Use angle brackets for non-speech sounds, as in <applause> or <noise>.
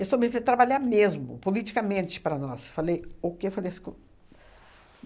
Estou me fe trabalhar mesmo, politicamente, para nós. Falei, o que? <unintelligible>